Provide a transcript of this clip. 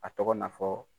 A tɔgɔ na fɔ